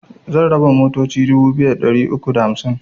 Zan raba motoci dubu biyu da ɗari uku da hamsin